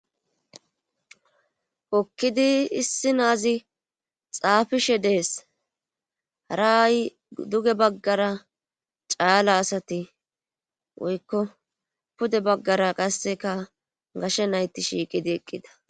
okkidi issi naazi xaafishe dees haraay duge baggara caala asati woykko pude baggara qasseka gashe nayti shiiqidi eqqida